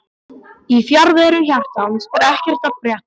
Í fjarveru hjartans er ekkert að frétta